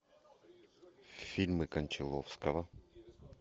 фильмы кончаловского